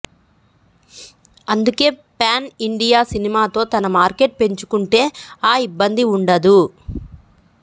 అందుకే pan India సినిమాతో తన మార్కెట్ పెంచుకుంటే ఆ ఇబ్బంది ఉండదు